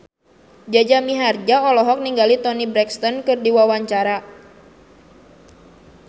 Jaja Mihardja olohok ningali Toni Brexton keur diwawancara